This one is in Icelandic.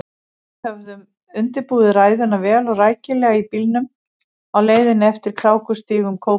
Við höfðum undirbúið ræðuna vel og rækilega í bílnum á leiðinni eftir krákustígum Kópavogs.